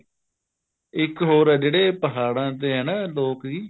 ਇੱਕ ਹੋਰ ਆ ਜਿਹੜੇ ਪਹਾੜਾਂ ਤੇ ਆ ਨਾ ਲੋਕ ਜੀ